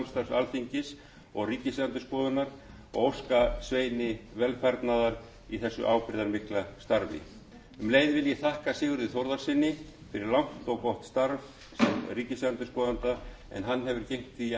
alþingis og ríkisendurskoðunar og óska sveini velfarnaðar í þessu ábyrgðarmikla starfi um leið vil ég þakka sigurði þórðarsyni fyrir langt og gott starf sem ríkisendurskoðanda en hann hefur gegnt því